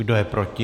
Kdo je proti?